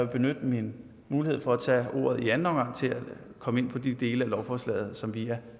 benytte min mulighed for at tage ordet i anden omgang til at komme ind på de dele af lovforslaget som vi er